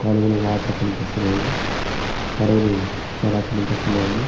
కాలువలో వాటర్ కనిపిస్తున్నాయి పడవలు చాలా కనిపిస్తున్నాయి